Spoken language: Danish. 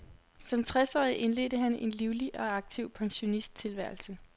Som tres årig indledte han en livlig og aktiv pensionisttilværelse.